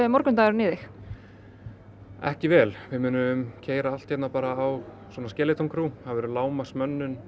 morgundagurinn í þig ekki vel við munum keyra allt á